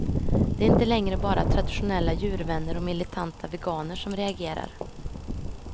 Det är inte längre bara traditionella djurvänner och militanta veganer som reagerar.